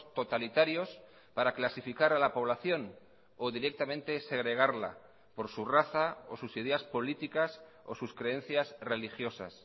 totalitarios para clasificar a la población o directamente segregarla por su raza o sus ideas políticas o sus creencias religiosas